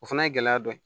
O fana ye gɛlɛya dɔ ye